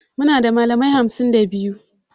Muna da malamai hamsin da biyu